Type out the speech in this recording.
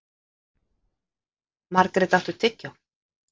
Margret, áttu tyggjó?